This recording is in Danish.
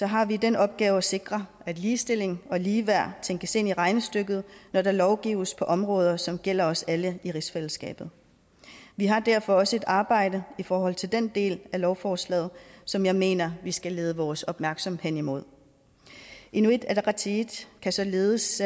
har vi den opgave at sikre at ligestilling og ligeværd tænkes ind i regnestykket når der lovgives på områder som gælder os alle i rigsfællesskabet vi har derfor også et arbejde i forhold til den del af lovforslaget som jeg mener vi skal lede vores opmærksomhed hen imod inuit ataqatigiit kan således